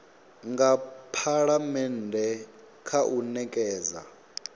nga phalamennde kha u nekedza